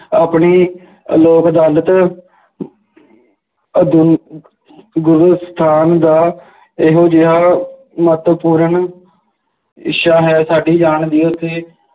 ਆਪਣੀ ਲੋਕ ਅਦਾਲਤ ਗੁਰੂ ਗੁਰੂ ਅਸਥਾਨ ਦਾ ਇਹੋ ਜਿਹਾ ਮਹੱਤਵਪੂਰਨ ਇੱਛਾ ਹੈ ਸਾਡੀ ਜਾਣ ਦੀ ਉੱਥੇ